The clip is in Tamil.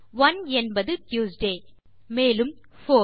ஒனே என்பது ட்யூஸ்டே மேலும் போர்